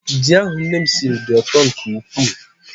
Ji ahụ nne m siri dị ụtọ nke ukwuu.